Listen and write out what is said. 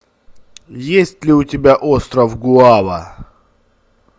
есть ли у тебя остров гуава